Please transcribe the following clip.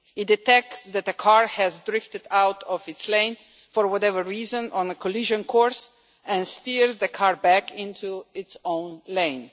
It detects that that car has drifted out of its lane for whatever reason, on a collision course, and steers the car back into its own lane.